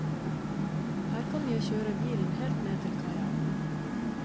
Her kan jeg kjøre bilen helt ned til kaia.